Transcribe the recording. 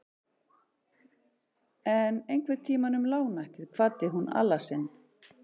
En einhvern tíma um lágnættið kvaddi hún Alla sinn.